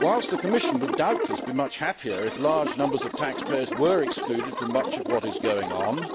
Whilst the Commission would doubtless be much happier if large numbers of taxpayers were excluded from much of what is going on,